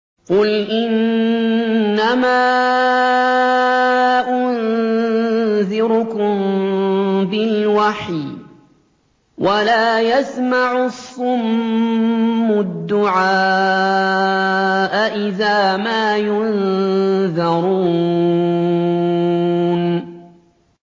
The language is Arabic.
قُلْ إِنَّمَا أُنذِرُكُم بِالْوَحْيِ ۚ وَلَا يَسْمَعُ الصُّمُّ الدُّعَاءَ إِذَا مَا يُنذَرُونَ